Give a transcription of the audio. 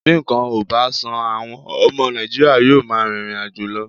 Bí nǹkan ò bá sàn, àwọn ọmọ Nàìjíríà yóò máa rìnrìn àjò lọ